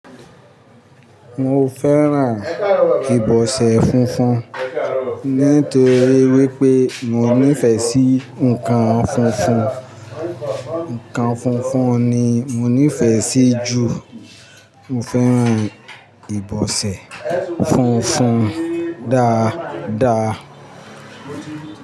Mo fẹ́ràn ìbọsẹ̀ funfun nítorí wípé mo nífẹ̀ẹ́ sí nǹkan funfun. Nǹkan funfun ni mo nífẹ̀ẹ́ sí ju. Mo fẹ́ran ìbọsẹ̀ funfun dáadáa.